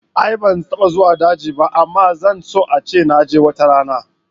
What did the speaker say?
A'a ban taɓa zuwa daji ba amma zan so ace naje watarana